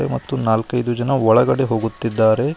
ಮತ್ತು ನಾಲ್ಕೈದು ಜನ ಒಳಗಡೆ ಹೋಗುತ್ತಿದ್ದಾರೆ.